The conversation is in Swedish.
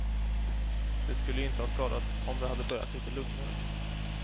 Det skulle ju inte ha skadat om det hade börjat lite lugnare.